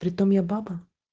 притом я баба